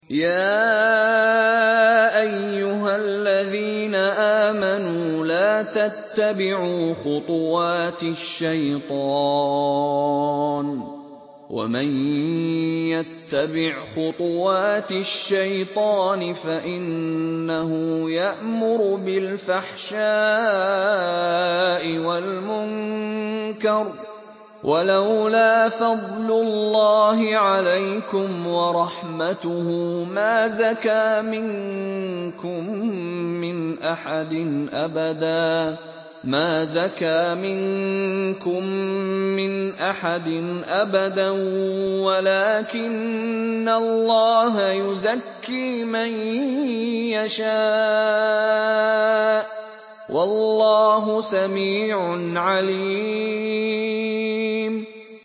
۞ يَا أَيُّهَا الَّذِينَ آمَنُوا لَا تَتَّبِعُوا خُطُوَاتِ الشَّيْطَانِ ۚ وَمَن يَتَّبِعْ خُطُوَاتِ الشَّيْطَانِ فَإِنَّهُ يَأْمُرُ بِالْفَحْشَاءِ وَالْمُنكَرِ ۚ وَلَوْلَا فَضْلُ اللَّهِ عَلَيْكُمْ وَرَحْمَتُهُ مَا زَكَىٰ مِنكُم مِّنْ أَحَدٍ أَبَدًا وَلَٰكِنَّ اللَّهَ يُزَكِّي مَن يَشَاءُ ۗ وَاللَّهُ سَمِيعٌ عَلِيمٌ